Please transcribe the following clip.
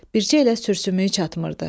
Bircə elə sürsümüyü çatmırdı.